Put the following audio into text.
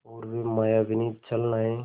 और वे मायाविनी छलनाएँ